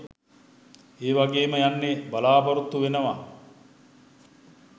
එවගේම යුන්හෙ බලාපොරොත්තු වෙනවා